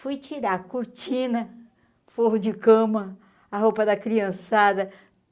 Fui tirar a cortina, forro de cama, a roupa da criançada.